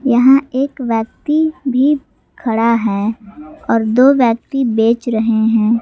यहां एक व्यक्ति भी खड़ा है और दो व्यक्ति बेच रहे हैं।